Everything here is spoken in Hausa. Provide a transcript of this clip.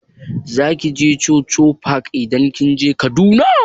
Zaki je chuchu park idan kika je Kaduna?